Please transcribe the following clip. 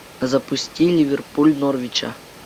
запусти ливерпуль норвича